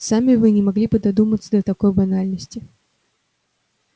сами вы не могли бы додуматься до такой банальности